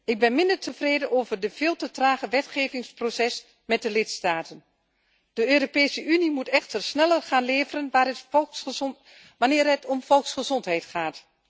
Ik ben minder tevreden over de veel te trage wetgevingsprocedure met de lidstaten. De Europese Unie moet echter sneller resultaten gaan leveren wanneer het om volksgezondheid gaat.